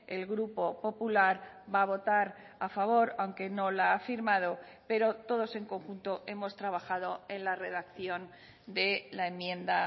el grupo popular va a votar a favor aunque no la ha firmado pero todos en conjunto hemos trabajado en la redacción de la enmienda